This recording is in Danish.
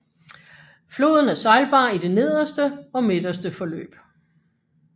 Floden er sejlbar i det nederste og midterse løb